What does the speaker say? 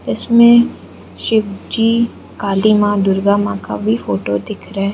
इसमें शिव जी काली मां दुर्गा मां का भी फोटो दिख रहा है।